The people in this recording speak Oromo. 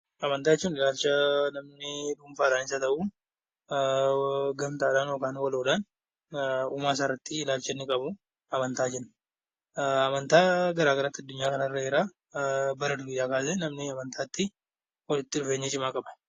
Amantaa jechuun ilaalcha namni dhuunfaanisa haa ta'u waloodhaan uumaasaa irratti ilaalcha inni qabu amantaa jenna. Amantaa garaagaraatu addunyaa kanarra jira. Bara durii kaasee namni amantaatti walitti dhufeenya cimaa qaba.